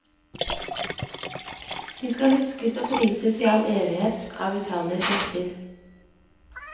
De skal huskes og prises i all evighet av utallige slekter.